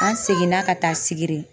An seginna ka taa Sigiri.